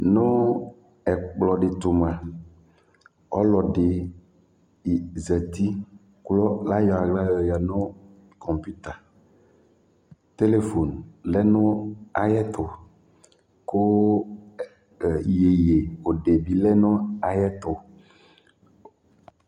nu ɛkpkɔ ɖi to mua ɔkɔdi ƶati ko là yɔ aɣla yɔya nu conpita telephon lɛ nu ayɛ tu ko yeye obe bi lɛ nu ayɛtu